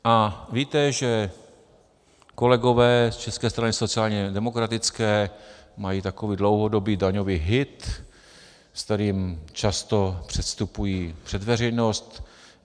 A víte, že kolegové z České strany sociálně demokratické mají takový dlouhodobý daňový hit, se kterým často předstupují před veřejnost.